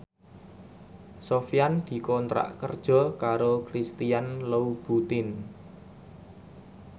Sofyan dikontrak kerja karo Christian Louboutin